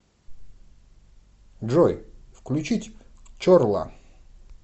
джой включить чорла